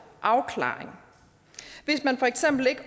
afklaring hvis man for eksempel ikke